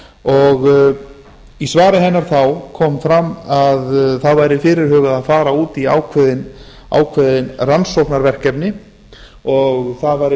og í svari hennar þá kom fram að það væri fyrirhugað að fara út í ákveðin rannsóknarverkefni og það væri